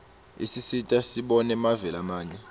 isisita sibone mave lamanye